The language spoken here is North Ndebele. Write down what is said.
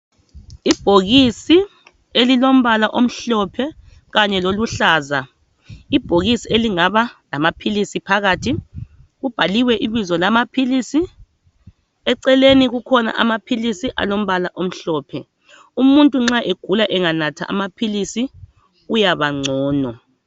Ibhokisi elilombala omhlophe Kanye loluhlaza ibhokisi elingaba lama philisi phakathi kubhaliwe ibizo lamaphilisi eceleni kukhona amaphilisi alombala omhlophe , umuntu nxa egula enganatha amaphilisi uyaba ngcono.